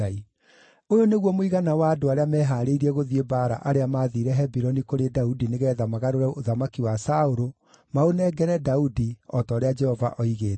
Ũyũ nĩguo mũigana wa andũ arĩa meehaarĩirie gũthiĩ mbaara arĩa maathiire Hebironi kũrĩ Daudi nĩgeetha magarũre ũthamaki wa Saũlũ, maũnengere Daudi, o ta ũrĩa Jehova oigĩte: